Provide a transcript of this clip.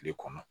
Tile kɔnɔ